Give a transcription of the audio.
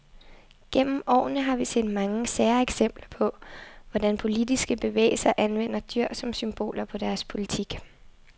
Gennem årene har vi set mange sære eksempler på, hvordan politiske bevægelser anvender dyr som symboler på deres politik.